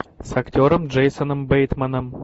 с актером джейсоном бейтманом